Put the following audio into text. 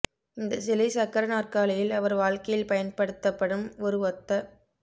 இந்த சிலை சக்கர நாற்காலியில் அவர் வாழ்க்கையில் பயன்படுத்தப்படும் ஒரு ஒத்த